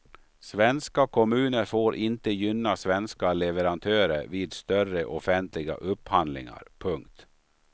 Svenska kommuner får inte gynna svenska leverantörer vid större offentliga upphandlingar. punkt